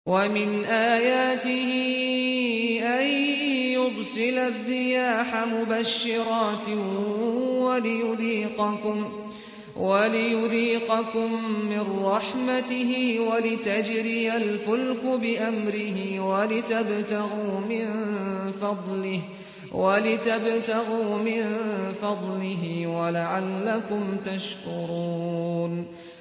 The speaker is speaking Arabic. وَمِنْ آيَاتِهِ أَن يُرْسِلَ الرِّيَاحَ مُبَشِّرَاتٍ وَلِيُذِيقَكُم مِّن رَّحْمَتِهِ وَلِتَجْرِيَ الْفُلْكُ بِأَمْرِهِ وَلِتَبْتَغُوا مِن فَضْلِهِ وَلَعَلَّكُمْ تَشْكُرُونَ